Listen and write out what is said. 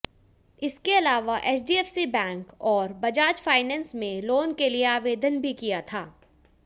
इसके अलावा HDFC bank और बजाज फाइनेंस में लोन के लिए आवेदन भी किया था